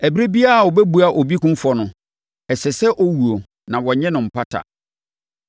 “Ɛberɛ biara a wɔbɛbua obi kumfɔ no, ɛsɛ sɛ ɔwuo a wɔnnye mpata biara.